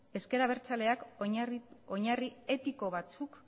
ezker abertzaleak oinarri etiko batzuk